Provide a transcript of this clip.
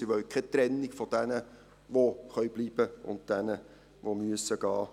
Sie wollen keine Trennung von denen, die bleiben können und denen, die gehen müssen.